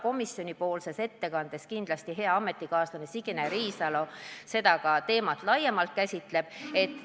Sotsiaalkomisjoni ettekandes käsitleb hea ametikaaslane Signe Riisalo seda teemat kindlasti laiemalt.